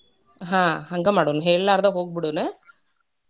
ಆಹ್ ಹಂಗೇ ಮಾಡುಣ ಹೇಳ್ಲಾರ್ದ ಹೋಗ್ ಬಿಡೋನ.